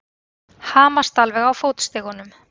Hamast alveg á fótstigunum!